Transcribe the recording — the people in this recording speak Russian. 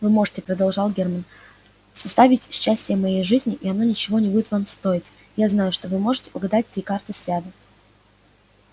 вы можете продолжал германн составить счастие моей жизни и оно ничего не будет вам стоить я знаю что вы можете угадать три карты сряду